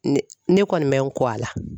Ne ne kɔni me n ko a la